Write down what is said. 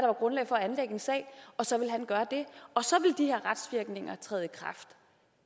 var grundlag for at anlægge en sag og så ville han gøre det og så ville de her retsvirkninger træde i kraft